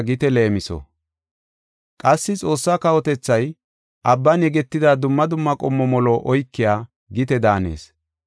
“Qassi Xoossaa kawotethay abban yegetida dumma dumma qommo molo oykiya gitiya daanees.